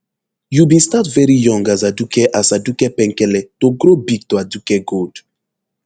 you bin start veri young as aduke as aduke penkele to grow big to aduke gold